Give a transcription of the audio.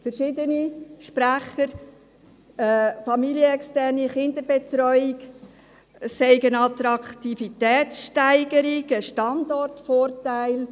Verschiedene Sprecher haben gesagt, familienexterne Kinderbetreuung sei eine Attraktivitätssteigerung und ein Standortvorteil.